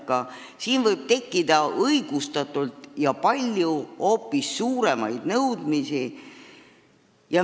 Õigustatult võib tekkida palju ja ehk hoopis suuremaid nõudmisi.